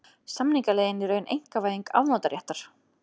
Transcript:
Samningaleiðin í raun einkavæðing afnotaréttar